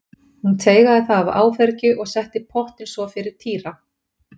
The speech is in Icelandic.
Hún teygaði það af áfergju og setti pottinn svo fyrir Týra.